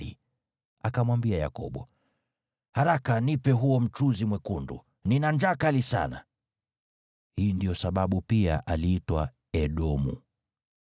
Esau akamwambia Yakobo, “Haraka, nipe huo mchuzi mwekundu! Nina njaa kali sana!” (Hii ndiyo sababu pia aliitwa Edomu.)